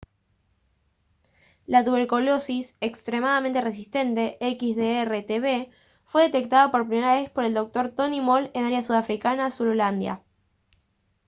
la tuberculosis extremadamente resistente xdr-tb fue detectada por primera vez por el dr. tony moll en área sudafricana de zululandia